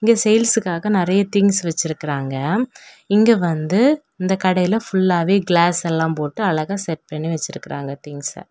இங்க சேல்ஸ்காக நெறைய திங்ஸ் வெச்சிருக்காங்க இங்க வந்து இந்த கடையில ஃபுல்லாவே கிளாஸ் எல்லாம் போட்டு அழகா செட் பண்ணி வெச்சிருக்காங்க திங்ஸ்ச .